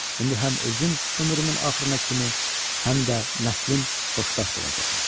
İndi həm özüm ömrümün axırına kimi, həm də nəslim xoşbəxt olacaqlar.